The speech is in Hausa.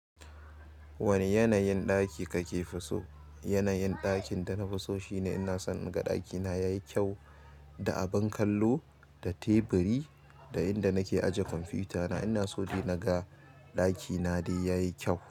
Wane yanayin ɗaki kake so? Yanayin ɗakin da na fi so shine ina son in ga ɗakina yayi kyau da abin kallo, da teburi da inda nake ajiya kwamfutana. Ina so dai naga ɗakina dai yayi kyau.